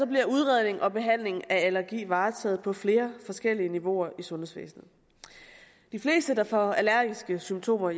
bliver udredning og behandling af allergi varetaget på flere forskellige niveauer i sundhedsvæsenet de fleste der får allergiske symptomer